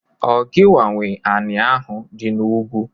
Ọ gịnwa nwe anị ahụ dị n'ugwu?